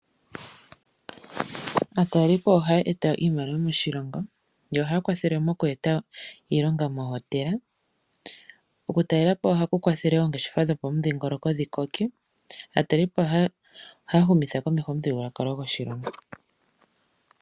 Aataleliipo ohaya e ta iimaliwa moshilongo, yo ohaya kwathele oku e ta iilonga moohotela. Oku talela po ohaku kwa thele oongeshefa dhopamudhingoloko dhi koke. Aataleliipo ohaya humi tha komeho omuthigululwakalo goshilongo.